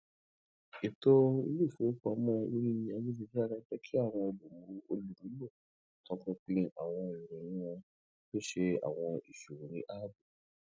eto ile ifowopamọ ori ayelujara jẹ ki awọn olumulo tọpinpin awọn iroyin wọn ki o ṣe awọn iṣowo ni aabo